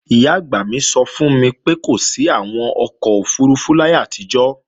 Ìyá-àgbà mi sọ fún mi pé kò sí àwọn ọkọ̀ òfurufú láyé àtijọ́